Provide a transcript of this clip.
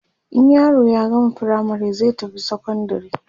in yaro ya gama firamare zai tafi sekondari